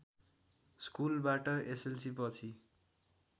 स्कुलबाट एसएलसीपछि